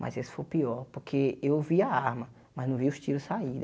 Mas esse foi o pior, porque eu vi a arma, mas não vi os tiros saírem.